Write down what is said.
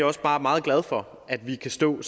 også bare meget glad for at vi kan stå